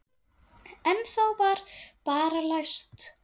En þá var bara læst.